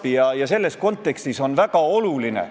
Minu meelest on nad selleks suutelised, nad on täiesti normaalsed inimesed.